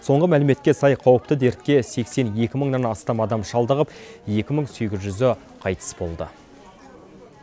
соңғы мәліметке сай қауіпті дертке сексен екі мыңнан астам адам шалдығып екі мың сегіз жүзі қайтыс болды